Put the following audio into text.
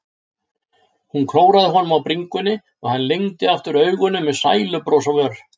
Hún klóraði honum á bringunni og hann lygndi aftur augunum með sælubros á vör.